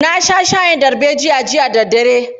Na sha shayin darbejiya jiya da daddare.